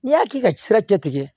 N'i y'a k'i ka sira tɛ kɛ